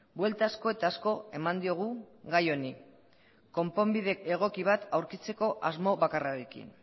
buelta asko eta asko eman diogu gai honi konponbide egoki bat aurkitzeko asmo bakarrarekin